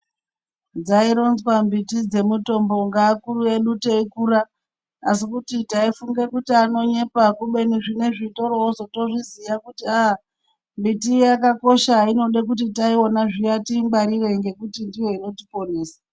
Dzaironzwa miti dzemutombo ngeakuru edu teikura asi kuti taifunge kuti anonyepa kubeni zvinezvi torootozviziya kuti ah miti iya yakakosha inode kuti taiona zviya tiingwarire nekuti ndiyo inotiponesa.